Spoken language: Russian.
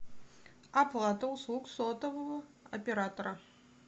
оплата услуг сотового оператора